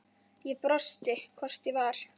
Ég brosti, hvort ég var!